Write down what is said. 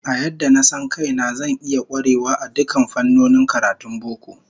A yadda na san kaina, zan iya kwarewa a dukkan fannonin karatun boko